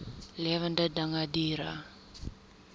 lewende dinge diere